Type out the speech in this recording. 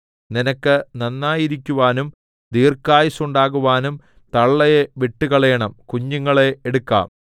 നിനക്ക് നന്നായിരിക്കുവാനും ദീർഘായുസ്സുണ്ടാകുവാനും തള്ളയെ വിട്ടുകളയണം കുഞ്ഞുങ്ങളെ എടുക്കാം